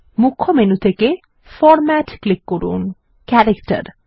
মুখ্য মেনু থেকে format click করুন ক্যারেক্টার